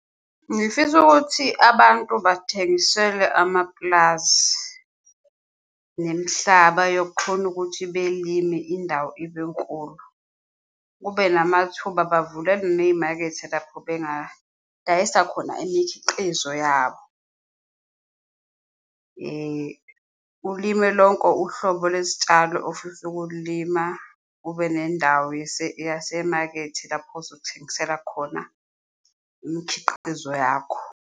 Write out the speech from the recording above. Ngifisa ukuthi abantu bathengiselwe amapulazi nemihlaba yokukhone ukuthi belime indawo ibe nkulu, kube namathuba, bavulelwe neyimakethe lapho bengadayisa khona imikhiqizo yabo. Ulime lonko uhlobo lesitshalo ofisa ukululima, kube nendawo yasemakethe lapho ozothengisela khona imikhiqizo yakho.